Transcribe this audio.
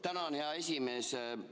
Tänan, hea esimees!